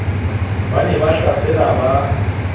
ba ne ba tlasala ba